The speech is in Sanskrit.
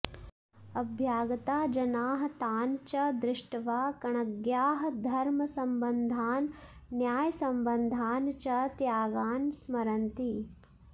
अभ्यागताः जनाः तान् च दृष्ट्वा कण्णग्याः धर्मसम्बद्धान् न्यायसम्बद्धान् च त्यागान् स्मरन्ति